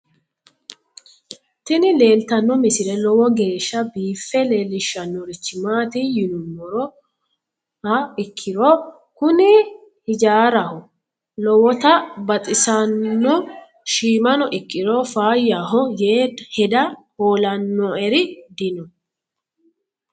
tini leeltanno misile lowo geeshsha biiffe leeellishshannorichi maati yinummoha ikkiro kuni hijaaraho lowota baxisano shiimano ikkiro faayyahoyee hedaa hoolannoeri dino